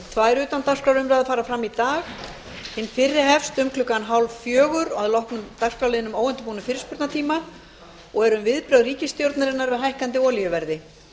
tvær utandagskrárumræður fara fram í dag hin fyrri hefst um klukkan hálffjögur að loknum dagskrárliðnum óundirbúinn fyrirspurnatími og er um viðbrögð ríkisstjórnarinnar við hækkandi olíuverði